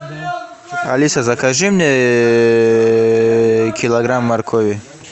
алиса закажи мне килограмм моркови